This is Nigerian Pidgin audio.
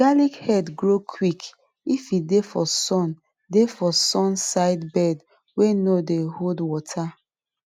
garlic head grow quick if e dey for sun dey for sun side bed wey no dey hold water